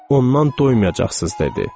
Ondan doymayacaqsız dedi.